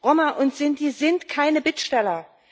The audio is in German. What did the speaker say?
Roma und Sinti sind keine Bittsteller.